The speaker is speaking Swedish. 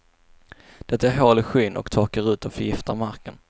Det gör hål i skyn och torkar ut och förgiftar marken.